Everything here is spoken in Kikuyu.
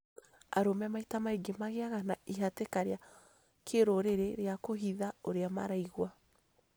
Arũme maita maingĩ magĩaga na ihatĩka rĩa kĩrũrĩrĩ rĩa kũhitha ũrĩa maraigua,